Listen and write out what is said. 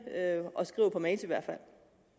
og skriver på mails i hvert fald